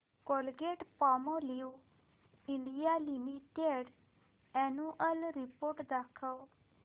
Colgate Palmolive India limited annual report दाखव